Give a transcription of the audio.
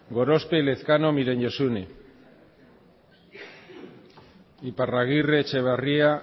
gorospe elezkano miren josune iparragirre etxeberria